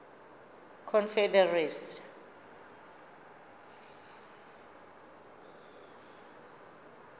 confederacy